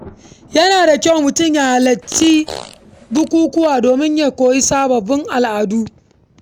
Yana da kyau mutum ya halarci bukukuwa domin ya koyi sababbin abubuwa.